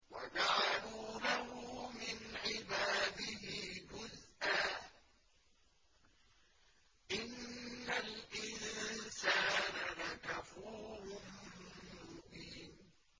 وَجَعَلُوا لَهُ مِنْ عِبَادِهِ جُزْءًا ۚ إِنَّ الْإِنسَانَ لَكَفُورٌ مُّبِينٌ